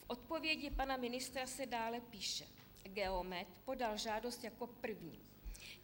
V odpovědi pana ministra se dále píše: Geomet podal žádost jako první.